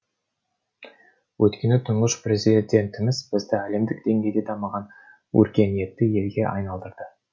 өйткені тұңғыш президентіміз бізді әлемдік деңгейде дамыған өркениетті елге айналдырды